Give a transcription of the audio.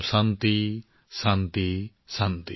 শান্তি শান্তি ॥